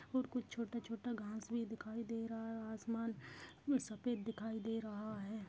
और कुछ छोटा छोटा घास भी दिखाई दे रहा है आसमान सफेद दिखाई दे रहा है।